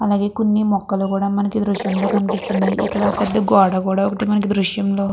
కొ న్నీ మొక్కలుకూడా మనకి ఈ దృశ్యం లో కనిపిస్తున్నాయి ఇక్కడ పెద్ద గోడ కూడా ఒకటి మనకి ఈ దృశ్యంలో.